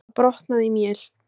Það brotnaði í mél.